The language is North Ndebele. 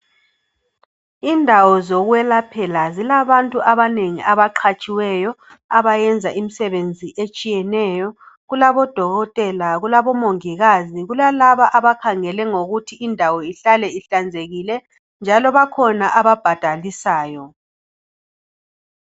Indawo zokwelaphela zilabantu abanengi abaqhatshiweyo abayenza umsebenzi etshiyeneyo, kulabo dokotela, kulabo mongikazi, kulalaba abakhangela ngokuthi indawo ihlale ihlanzekile, njalo kulalabo ababhadalisayo.